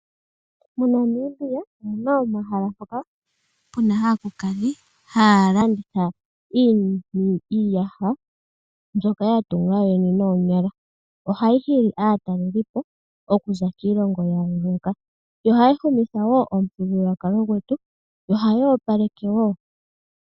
MoNamibia omuna omahala ngoka puna aakulukadhi haya landitha iiyaha mbyoka yatunga yo yene noonyala. Ohayi hili aatalelipo okuza kiilongo ya yooloka. Yo ohayi humitha wo omuthigululwakalo gwetu, yo ohayi opaleke wo.